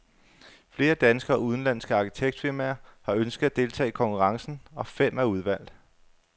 Flere danske og udenlandske arkitektfirmaer har ønsket at deltage i konkurrencen, og fem er udvalgt.